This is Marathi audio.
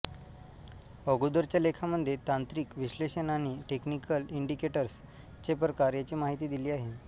अगोदरच्या लेखामध्ये तांत्रिक विश्लेषण आणि टेक्निकल इंडिकेटर्स चे प्रकार याची माहिती दिली आहे